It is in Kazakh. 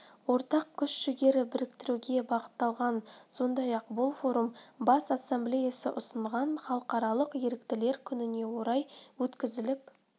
ортақ күш-жігерді біріктіруге бағытталған сондай-ақ бұл форум бас ассамблеясы ұсынған халықаралық еріктілер күніне орай өткізіліп